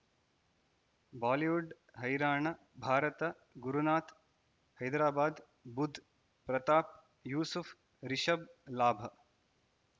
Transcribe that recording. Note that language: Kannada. ಬಾಲಿವುಡ್ ಹೈರಾಣ ಭಾರತ ಗುರುನಾಥ ಹೈದರಾಬಾದ್ ಬುಧ್ ಪ್ರತಾಪ್ ಯೂಸುಫ್ ರಿಷಬ್ ಲಾಭ